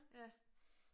Ja